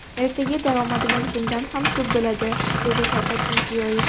Ertaga daromadimiz bundan ham ko‘p bo‘ladi”, dedi Shavkat Mirziyoyev.